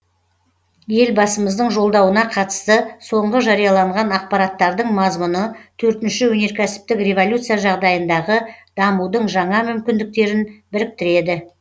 елбасымыздың жолдауына қатысты соңғы жарияланған ақпараттардың мазмұны төртінші өнеркәсіптік революция жағдайындағы дамудың жаңа мүмкіндіктерін біріктіреді